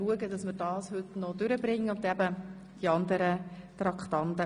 Wir führen eine freie Debatte.